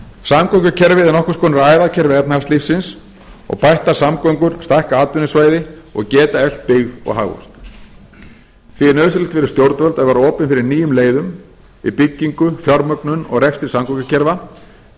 samgöngukerfið er nokkurskonar æðakerfi efnahagslífsins og bættar samgöngur stækka atvinnusvæði og geta eflt byggð og hagvöxt því er nauðsynlegt fyrir stjórnvöld að vera opin fyrir nýjum leiðum í byggingu fjármögnun og rekstri samgöngukerfa því